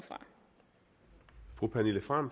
fra